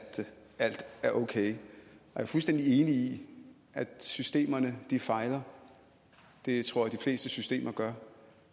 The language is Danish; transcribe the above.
alt er ok jeg er fuldstændig enig i at systemerne fejler det tror jeg de fleste systemer gør